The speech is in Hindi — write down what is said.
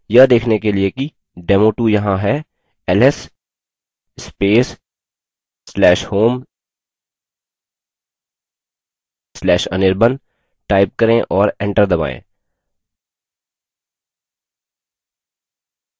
यह देखने के लिए कि demo2 यहाँ है ls space/home/anirban type करें और एंटर दबायें